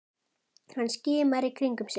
Hann skimar í kringum sig.